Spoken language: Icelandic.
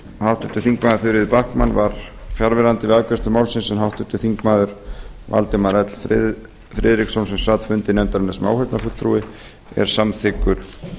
háttvirtir þingmenn þuríður backman var fjarverandi við afgreiðslu málsins en háttvirtur þingmaður valdimar l friðriksson sem sat fundi nefndarinnar sem áheyrnarfulltrúi er samþykkur